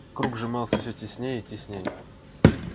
круг сжимался всё теснее и теснее